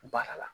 Baara la